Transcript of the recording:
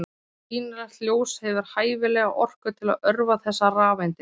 Sýnilegt ljós hefur hæfilega orku til að örva þessar rafeindir.